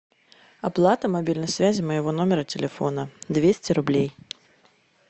оплата мобильной связи моего номера телефона двести рублей